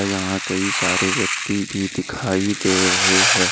यहां कई सारे व्यक्ति भी दिखाई दे रहे है।